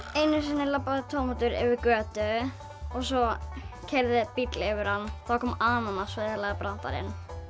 einu sinni labbaði tómatur yfir götu og svo keyrði bíll yfir hann þá kom ananas og eyðilagði brandarann